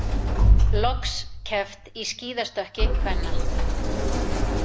Loks keppt í skíðastökki kvenna